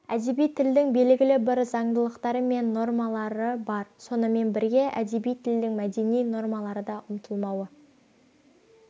әдеби тілдің белгілі бір заңдылықтары мен нормалары бар сонымен бірге әдеби тілдің мәдени нормалары да ұмытылмауы